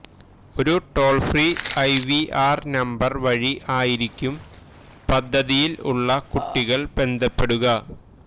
ഒരു toll free IVR number വഴി ആയിരിക്കും പദ്ധതിയില് ഉള്ള കുട്ടികള് ബന്ധപ്പെടുക